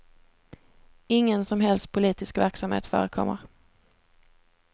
Ingen som helst politisk verksamhet förekommer.